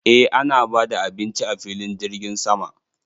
Eh ana bada abinci a filin jirgin sama.